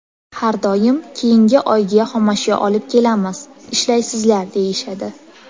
Har doim keyingi oyga xomashyo olib kelamiz, ishlaysizlar, deyishadi.